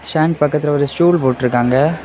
Fan பக்கத்துல ஒரு stool போட்ருக்காங்க.